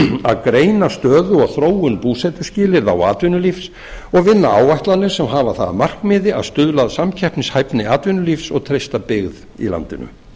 að greina stöðu og þróun búsetuskilyrða og atvinnulífs og vinna áætlanir sem hafa það að markmiði að stuðla að samkeppnishæfni atvinnulífs og treysta byggð í landinu